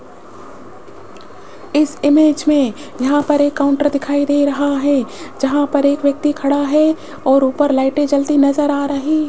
इस इमेज में यहां पर एक काउंटर दिखाई दे रहा है जहां पर एक व्यक्ति खड़ा है और ऊपर लाइटें जलती नजर आ रही --